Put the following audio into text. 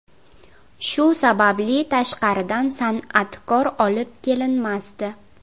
Shu sababli tashqaridan san’atkor olib kelinmasdi.